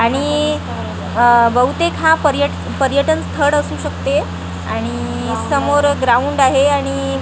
आणि बहुतेक हा पर्यट पर्यटन स्थळ असू शकते आणि समोर ग्राउंड आहे आणि--